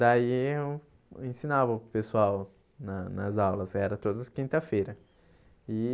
Daí eu ensinava para o pessoal na nas aulas, era todas as quinta-feira e.